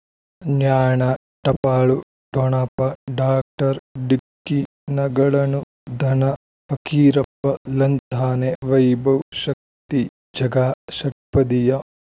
ಜ್ಞಾನ ಟಪಾಲು ಠೊಣಪ ಡಾಕ್ಟರ್ ಢಿಕ್ಕಿ ಣಗಳನು ಧನ ಫಕೀರಪ್ಪ ಳಂತಾನೆ ವೈಭವ್ ಶಕ್ತಿ ಝಗಾ ಷಟ್ಪದಿಯ